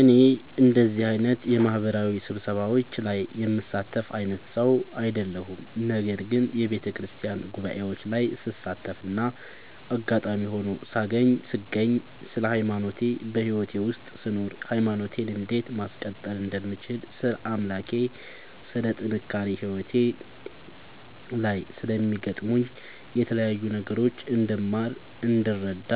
እኔ እንደዚህ አይነት የማህበራዊ ስብሰባዎች ላይ የምሳተፍ አይነት ሰው አይደለሁም። ነገር ግን በየቤተክርስቲያን ጉባኤዎች ላይ ስሳተፍና አጋጣሚ ሆኖ ስገኝ ስለ ሃይማኖቴ በህይወቴ ውስጥ ስኖር ሃይማኖቴን እንዴት ማስቀጠል እንደምችል ስለ አምላኬ ስለ ጥንካሬ ህይወቴ ላይ ስለሚያጋጥሙኝ የተለያዩ ነገሮች እንድማር እንድረዳ